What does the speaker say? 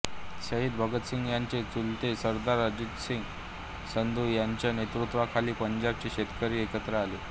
शहीद भगतसिंग यांचे चुलते सरदार अजितसिंग संधू यांच्या नेतृत्वाखाली पंजाबचे शेतकरी एकत्र आले